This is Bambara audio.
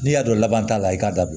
N'i y'a dɔn laban t'a la i k'a dabila